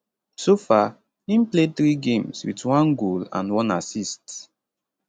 so far im play 3 games wit 1 goal and 1 assist